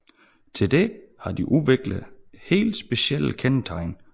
Til dette har de udviklet helt specielle kendetegn